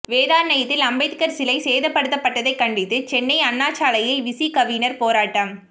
வேதாரண்யத்தில் அம்பேதகர் சிலை சேதப்படுத்தப்பட்டதை கண்டித்து சென்னை அண்ணாசாலையில் விசிகவினர் போராட்டம்